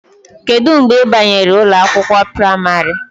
Kedu mgbe ị banyere ụlọ akwụkwọ praịmarị?